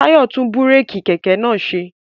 Tayo tún búrèkì kẹ̀kẹ́ naa ṣe